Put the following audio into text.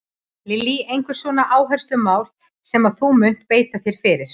Lillý: Einhver svona áherslumál sem að þú munt beita þér fyrir?